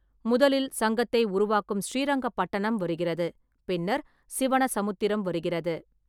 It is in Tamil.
முதலில் சங்கத்தை உருவாக்கும் ஸ்ரீரங்கப்பட்டணம் வருகிறது, பின்னர் சிவனசமுத்திரம் வருகிறது.